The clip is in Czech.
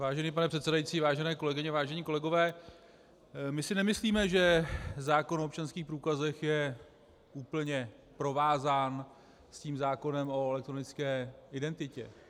Vážený pane předsedající, vážené kolegyně, vážení kolegové, my si nemyslíme, že zákon o občanských průkazech je úplně provázán s tím zákonem o elektronické identitě.